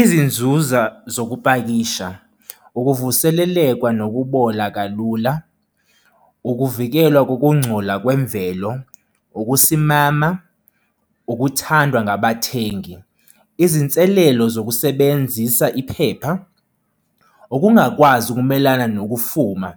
Izinzuza zokupakisha. Ukuvuselelekwa nokubola kalula. Ukuvikelwa kokungcola kwemvelo, ukusimama, ukuthandwa ngabathengi. Izinselelo zokusebenzisa iphepha, ukungakwazi ukumelana nokufuma